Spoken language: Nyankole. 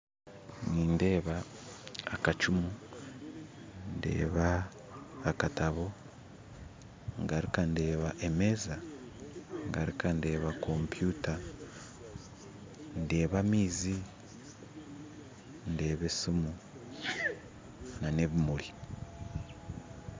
Nindeeba akacumu ndeeba akatabu ngaruka ndeeba emeeza ngaruka ndeeba kompyuta ndeeba amaizi ndeeba esimu n'ebimuri